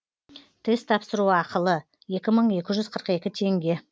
тест тапсыру ақылы екі мың екі жүз қырық екі теңге